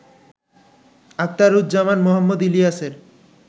আখতারুজ্জামান মোহাম্মদ ইলিয়াসের